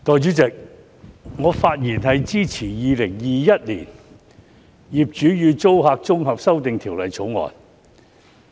代理主席，我發言支持《2021年業主與租客條例草案》。